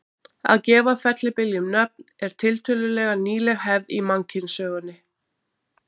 að gefa fellibyljum nöfn er tiltölulega nýleg hefð í mannkynssögunni